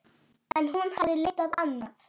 En hún hafði leitað annað.